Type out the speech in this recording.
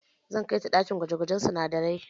Zan kai ta ɗakin gwaje-gwajen sinadarai.